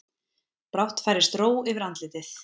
Brátt færist ró yfir andlitið.